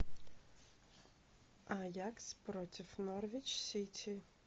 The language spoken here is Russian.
аякс против норвич сити